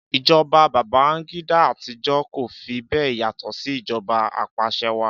Ìjọba Babangida àtijọ́ kò fi bẹ́ẹ̀ yàtọ̀ sí ìjọba apàṣẹwàá.